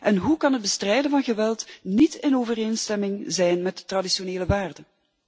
En hoe kan het bestrijden van geweld niet in overeenstemming zijn met traditionele waarden?